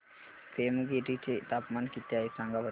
पेमगिरी चे तापमान किती आहे सांगा बरं